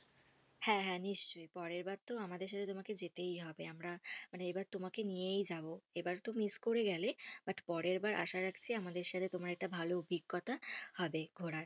হ্যাঁ হ্যাঁ নিশ্চই। পরেরবার তো আমাদের সাথে তোমাকে যেতেই হবে। আমরা মানে এবার তোমাকে নিয়েই যাবো। এবারে তো miss করে গেলে। but পরেরবার আশা রাখছি আমাদের সাথে তোমার একটা ভালো অভিজ্ঞতা হবে ঘোরার।